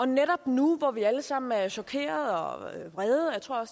netop nu hvor vi alle sammen er chokerede og vrede og jeg tror